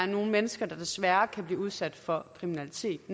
nogle mennesker desværre kan blive udsat for kriminalitet